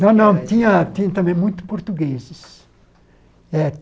Não, não, tinha tinha também muito portugueses. É